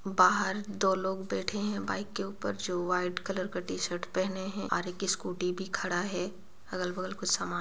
बाहर दो लोग बैठे हैं बाइक के ऊपर जो वाइट कलर का टी- शर्ट पहने हैं और एक स्कूटी भी खड़ा है अगल-बगल कुछ सामान--